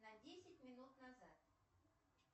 на десять минут назад